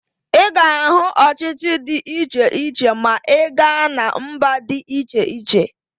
Ị ga-ahụ ọchịchị dị iche iche ma ị gaa na mba dị iche iche